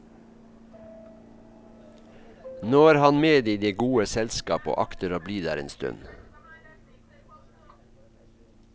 Nå er han med i det gode selskap og akter å bli der en stund.